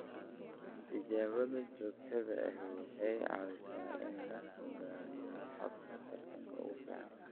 Tijaabada joogtada ahi waxay caawisaa in la go'aamiyo hababka taranta ugu fiican.